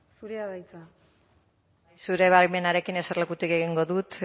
zurea da hitza zure baimenarekin eserlekutik egingo dut